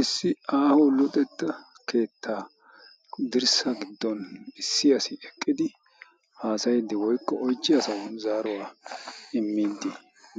issi aaho luxetta keettaa dirssa giddon issi asi eqqidi haasayiddi woykko oychchiya asaw zaaruwaa immiddi